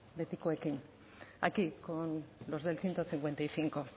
betikoekin aquí con los del ciento cincuenta y cinco